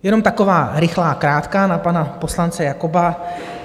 Jenom taková rychlá krátká na pana poslance Jakoba.